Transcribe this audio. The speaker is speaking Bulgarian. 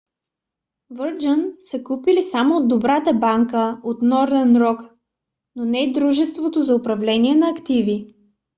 virgin са купили само добрата банка от northern rock но не и дружеството за управление на активи